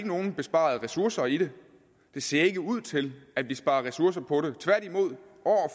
nogen besparede ressourcer i det det ser ikke ud til at vi sparer ressourcer på det tværtimod år